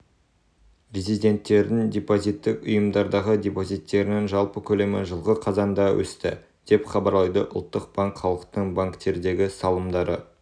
резиденттердің депозиттік ұйымдардағы депозиттерінің жалпы көлемі жылғы қазанда өсті деп хабарлайды ұлттық банк халықтың банктердегі салымдары